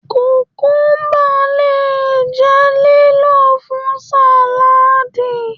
kukuba le jẹ lílò fún saladii